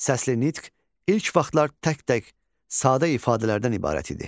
Səsli nitq ilk vaxtlar tək-tək, sadə ifadələrdən ibarət idi.